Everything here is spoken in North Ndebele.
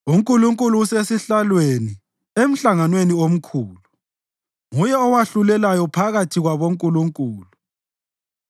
UNkulunkulu usesihlalweni emhlanganweni omkhulu; nguye owahlulelayo phakathi kwabo “nkulunkulu”: